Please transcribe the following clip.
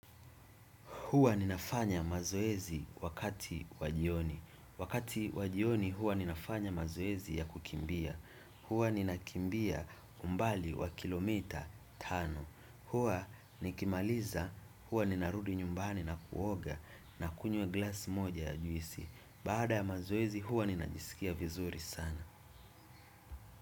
Hua ninafanya mazoezi wakati wajioni. Wakati wajioni hua ninafanya mazoezi ya kukimbia. Hua nina kimbia umbali wa kilomita tano. Hua nikimaliza hua ninarudi nyumbani na kuoga na kunywa glass moja ya juisi. Baada ya mazoezi hua ninajisikia vizuri sana.